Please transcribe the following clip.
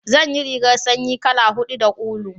zan ya rigar sanyi kala hudu da ulu